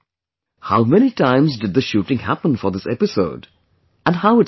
How many times did the shooting happen for this episode and how it happened